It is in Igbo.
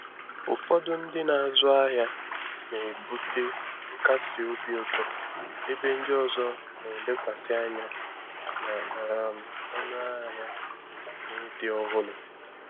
Ụfọdụ ndị na-azụ ahịa na-ebute nkasi obi ụzọ, ebe ndị ọzọ na-elekwasị anya na um ọnụahịa na ịdị ọhụrụ.